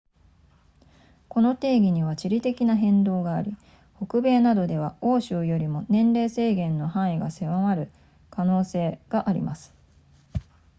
この定義には地理的な変動があり北米などでは欧州よりも年齢制限の範囲が狭まる可能性があります